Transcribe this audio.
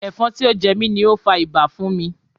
Ẹ̀fọn tí ó jẹ mi ni ó fa ibà fún mi.